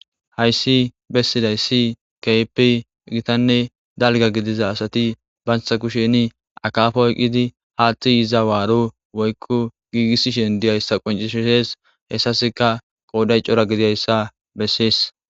hayssi bessiday si keepi gitanne dalga gidiza asati bansa kusheni akafoyqqidi haaththi iza waaro woykko giigissishen diyayssa qoncishishees hessaska qooday cora gidiyayssa bessees